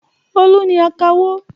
Olú ni akawó.